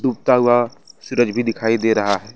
डूबता हुआ सूरज भी दिखाई दे रहा है।